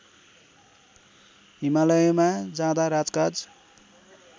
हिमालयमा जाँदा राजकाज